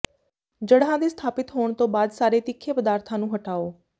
ਜੜ੍ਹਾਂ ਦੇ ਸਥਾਪਿਤ ਹੋਣ ਤੋਂ ਬਾਅਦ ਸਾਰੇ ਤਿੱਖੇ ਪਦਾਰਥਾਂ ਨੂੰ ਹਟਾਓ